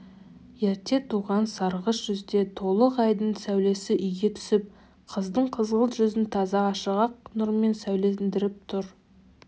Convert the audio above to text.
ерте туған сарғыш жүзді толық айдың сәулес үйге түсіп қыздың қызғылт жүзін таза ашық ақ нұрмен сәулелендіріп тұр